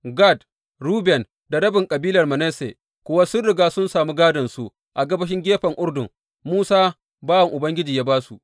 Gad, Ruben da rabin kabilar Manasse kuwa sun riga sun samu gādonsu a gabashin gefen Urdun, Musa bawan Ubangiji ya ba su.